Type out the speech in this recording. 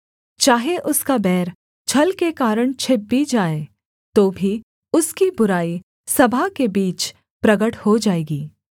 चाहे उसका बैर छल के कारण छिप भी जाए तो भी उसकी बुराई सभा के बीच प्रगट हो जाएगी